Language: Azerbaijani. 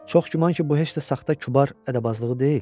Çox güman ki, bu heç də saxta kübar ədəbazlığı deyil.